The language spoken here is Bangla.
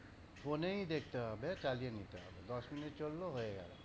ফোনেই দেখতে হবে, চালিয়ে নিতে হবে। দশ মিনিট হল হয়ে গেল।